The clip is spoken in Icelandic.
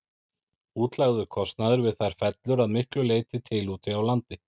Útlagður kostnaður við þær fellur að miklu leyti til úti á landi.